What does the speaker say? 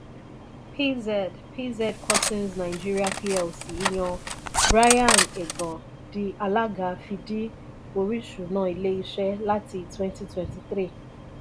pz pz cussons nigeria plc yan brian egan di alaga fí dì orisuna ilé ìṣe láti 2023.